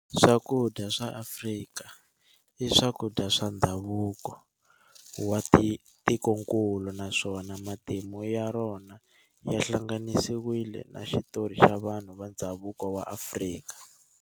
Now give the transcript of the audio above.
Swakudya swa Afrika i swakudya swa ndhavuko wa tikonkulu naswona matimu ya rona ya hlanganisiwile na xitori xa vanhu va ndhavuko wa Afrika.